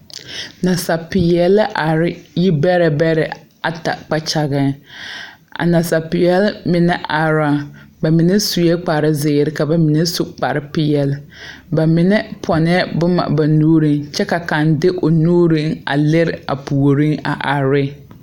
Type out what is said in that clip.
Nasapeɛle la are yi bɛrɛ bɛrɛ ata kpakyageŋ a nasapeɛl mine ara la ba mine suee kparezeere ka ba mine su kparepeɛle ba mine pɔnɛɛ boma nuuriŋ kyɛ ka kaŋ de o nuuriŋ a lire a puoriŋ a are re.